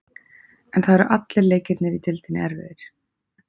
En það eru allir leikirnir í deildinni erfiðir.